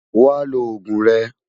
Wá ló ógún rè